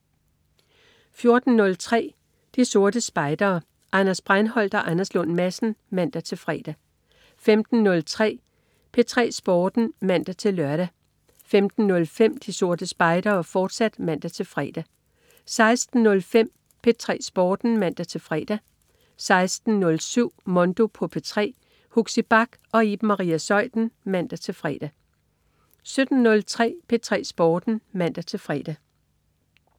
14.03 De Sorte Spejdere. Anders Breinholt og Anders Lund Madsen (man-fre) 15.03 P3 Sporten (man-lør) 15.05 De Sorte Spejdere, fortsat (man-fre) 16.05 P3 Sporten (man-fre) 16.07 Mondo på P3. Huxi Bach og Iben Maria Zeuthen (man-fre) 17.03 P3 Sporten (man-fre)